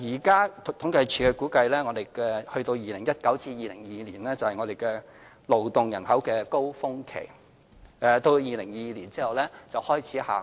據統計處現時的估計 ，2019 年至2022年將是勞動人口的高峰期，到2022年後，勞動人口便開始下降。